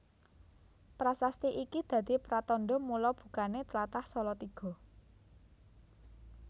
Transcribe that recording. Prasasti iki dadi pratandha mula bukané tlatah Salatiga